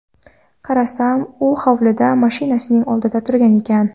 Qarasam, u hovlida, mashinasining oldida turgan ekan.